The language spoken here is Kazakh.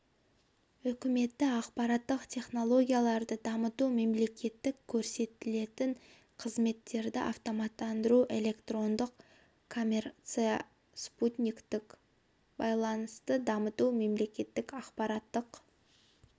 үкіметті ақпараттық технологияларды дамыту мемлекеттік көрсетілетін қызметтерді автоматтандыру электрондық коммерция спутниктік байланысты дамыту мемлекеттік ақпараттық